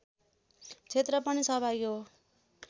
क्षेत्र पनि सहभागी हो